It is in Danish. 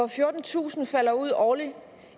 fjortentusind falder ud årligt